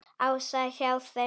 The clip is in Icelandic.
Ása er hjá þeim.